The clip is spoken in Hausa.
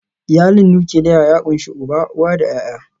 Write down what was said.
Iyalin nukiliya ya ƙunshi uba, uwa da ’ya’ya.